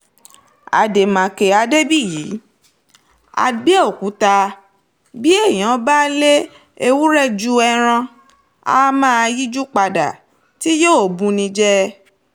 àdèmàkè adébíyí àbẹ̀òkúta bí èèyàn bá lé ewúrẹ́ ju ẹran á máa yíjú padà tí yóò bù ni jẹ́